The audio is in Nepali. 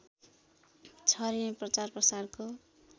छरिने प्रचारप्रसारको